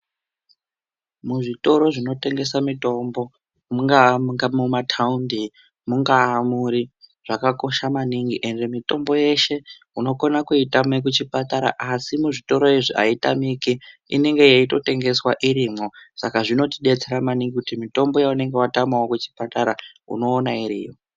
Muzvitoro zvinotengesa mitombo, mungaa muka mumathaundi, mungaa muri. Zvakakosha maningi ende mitombo yeshe unokona kuitame kuchipatara, asi muzvitoro izvi aitamiki. Inenge yeitotengeswa irimwo. Saka zvinotidetsera maningi kuti mitombo yaunenge watamawo kuchipatara unoona iriyo.